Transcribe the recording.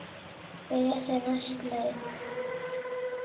Byrja þeir næsta leik?